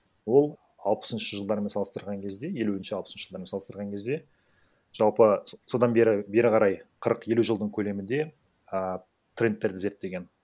ол алпысыншы жылдармен салыстырған кезде елуінші алпысыншы жылдармен салыстырған кезде жалпы содан бері бері қарай қырық елу жылдың көлемінде а трендтерді зерттеген